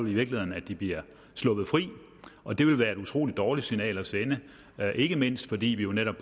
i virkeligheden at de bliver sluppet fri og det vil være et utrolig dårligt signal at sende ikke mindst fordi vi jo netop